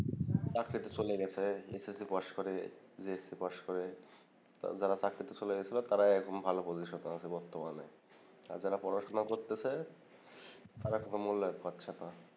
চাকরিতে চলে গেসে এসএসসি পাশ করে জে এস সি পাশ করে যারা চাকরিতে চলে গেসে তারা এখন ভাল পজিশনে আছে বর্তমানে আর যারা পড়াশোনা করতেসে তারা কোন মূল্যায়ন পাচ্ছেনা